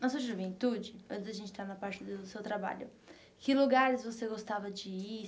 Na sua juventude, antes da gente entrar na parte do seu trabalho, que lugares você gostava de ir?